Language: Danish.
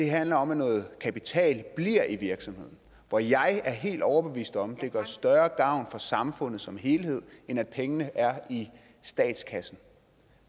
handler om at noget kapital bliver i virksomheden og jeg er helt overbevist om at det gør større gavn for samfundet som helhed end at pengene er i statskassen